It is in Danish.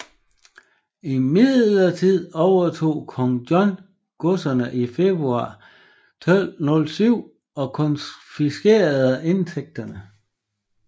Imidlertid overtog Kong John godserne i februar 1207 og konfiskerede indtægterne